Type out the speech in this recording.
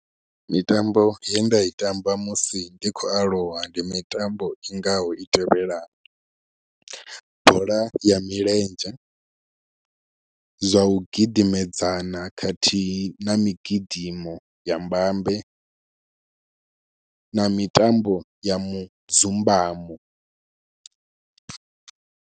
Mitambo ye nda i tamba musi ndi khou aluwa ndi mitambo i ngaho i tevhelaho, bola ya milenzhe, zwa u gidimedzana khathihi na migidimo ya mbambe na mitambo ya mudzumbamo.